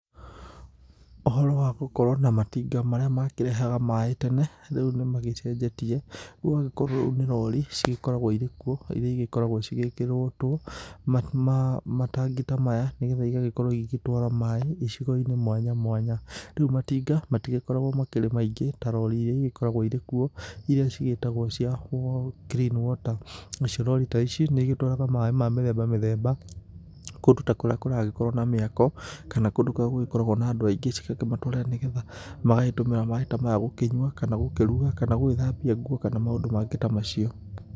Ũhoro wa gũkorwo na matinga marĩa makĩrehaga maĩ tene, rĩu nĩ magĩcenjetie ũgagĩkorwo rĩu nĩ rori cigĩkoragwo iri kũo ĩrĩa ĩgĩkoragwo irĩ kũo ĩrĩa ĩkoragwo igĩkĩrĩtwo matangĩ ta maya nĩ getha ĩgĩkorwo igĩtwarwa maĩ icigo-inĩ mwanya mwanya, rĩu matinga matigĩkoragwo marĩ maingĩ ta rori irĩa ĩgĩkoragwo irĩ kũo ĩrĩa cigĩtagwo cia Clean Water na ni cio citwaraga maĩ ma mĩthemba mĩthemba kũndũ ta kũrĩa kũragĩkorwo na mĩako kana kũndũ kũrĩa gũgĩkoragwo na andũ aingĩ cigakĩmatwarĩra nĩgetha magagĩtũmĩra maĩ maya gũkĩnyũa, kana gũkĩruga, kana gũgĩthambia nguo kana maũndũ mangĩ ta macio.